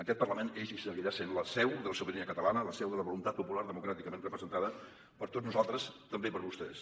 aquest parlament és i seguirà sent la seu de la sobirania catalana la seu de la voluntat popular democràticament representada per tots nosaltres també per vostès